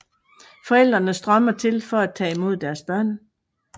Forældrene strømmer til for at tage imod deres børn